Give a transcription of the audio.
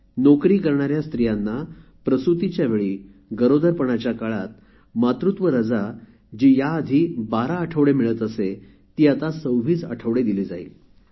नोकरी करणाऱ्या स्त्रियांना प्रसूतीच्या वेळी गरोदरपणाच्या काळात मातृत्व रजा जी याआधी १२ आठवडे मिळत असे ती आता २६ आठवडे दिली जाईल